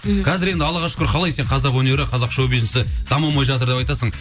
мхм қазіргі енді аллаға шүкір қалай сен қазақ өнері қазақ шоу бизнесі дамымай жатыр деп айтасың